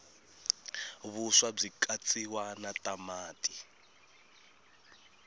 vuswa bwikatsiwa natamati